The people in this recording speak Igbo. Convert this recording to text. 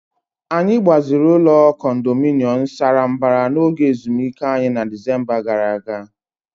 Anyị gbaziri ụlọ condominium sara mbara n'oge ezumike anyị na Disemba gara aga.